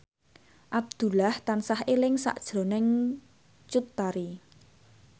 Abdullah tansah eling sakjroning Cut Tari